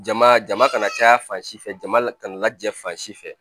Jama jama kana caya fan si fɛ jama la kana jɛ fan si fɛ